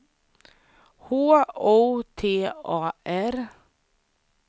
H O T A R